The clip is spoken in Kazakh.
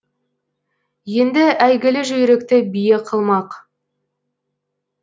енді әйгілі жүйрікті бие қылмақ